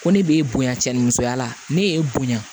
Ko ne b'e bonya cɛn ni musoya la ne ye e bonya